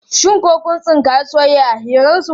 Shin ko kun tsinkayi soyayya a hirarsu?